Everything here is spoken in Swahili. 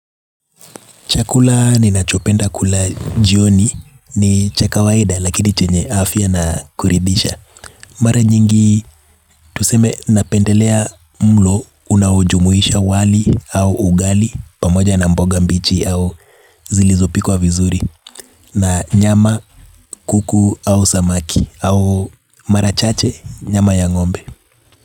Chakula ninachopenda kula jioni ni cha kawaida lakini chenye afya na kurithisha. Mara nyingi tuseme napendelea mlo unaojumuisha wali au ugali pamoja na mboga mbichi au zilizopikwa vizuri na nyama, kuku au samaki au marachache nyama ya ng'ombe.